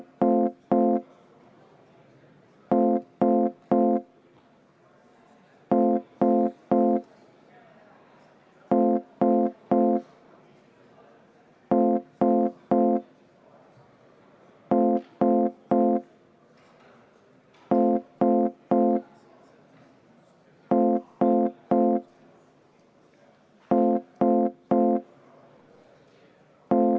Alustame täiskogu III istungjärgu 2. töönädala kolmapäevast istungit.